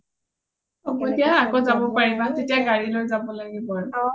হব দিয়া আৰু আকৌ যাব পাৰিবা তেতিয়া গাৰি লৈ যাব লাগিব আৰু